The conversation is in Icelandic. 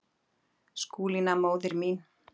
Skúlína, móðir mín.